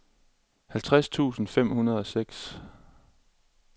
halvtreds tusind fem hundrede og seks